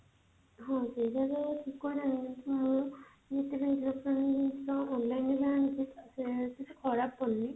ହଁ ସେଇଟା ତ ମୁଁ ଯେତିକି ସବୁ ଜିନିଷ online ରୁ ଆଣିଛି କିଛି ଖରାପ ପଡୁନି